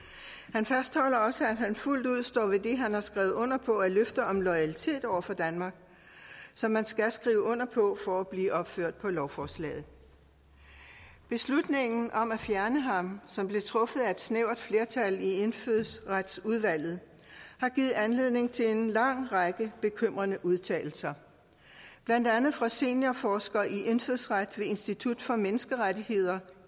han fastholder også at han fuldt ud står ved det han har skrevet under på af løfter om loyalitet over for danmark som man skal skrive under på for at blive opført på lovforslaget beslutningen om at fjerne ham som blev truffet af et snævert flertal i indfødsretsudvalget har givet anledning til en lang række bekymrende udtalelser blandt andet fra seniorforsker i indfødsret ved institut for menneskerettigheder